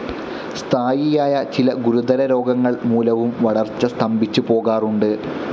സ്ഥായിയായ ചില ഗുരുതരരോഗങ്ങൾ മൂലവും വളർച്ച സ്തംഭിച്ചു പോകാറുണ്ട്.